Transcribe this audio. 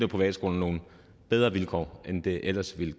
privatskolerne nogle bedre vilkår end de ellers ville